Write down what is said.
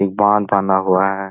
एक बांध बना हुआ है।